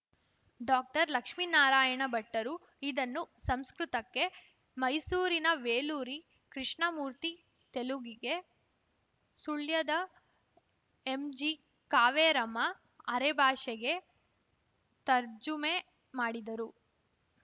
ಡಾಕ್ಟರ್ಲಕ್ಷ್ಮೀನಾರಾಯಣ ಭಟ್ಟರು ಇದನ್ನು ಸಂಸ್ಕೃತಕ್ಕೆ ಮೈಸೂರಿನ ವೇಲೂರಿ ಕೃಷ್ಣ ಮೂರ್ತಿ ತೆಲುಗಿಗೆ ಸುಳ್ಯದ ಎಂಜಿಕಾವೇರಮ್ಮ ಅರೆಭಾಷೆಗೆ ತರ್ಜುಮೆ ಮಾಡಿದರು